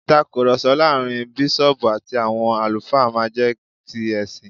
ìtakùròsọ láàrin bísọ̀ọ̀bù àti àwọn àlùfáà má n jé ti ẹ̀sìn